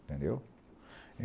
Entendeu?